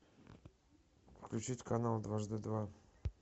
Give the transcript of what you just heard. включить канал дважды два